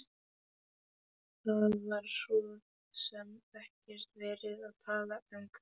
Það var svo sem ekki verið að tala um kaup.